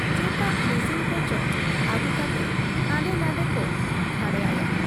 ᱪᱨᱛᱟᱛ machine ᱠᱚ ᱪᱚ ᱟᱹᱜᱩ ᱠᱟᱛᱮ ᱦᱟᱸᱰᱨ ᱱᱷᱟᱸᱰᱮ ᱠᱚ ᱜᱷᱟᱨᱲᱟᱭᱟ ᱾